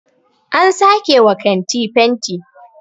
an sake wa kanti fenti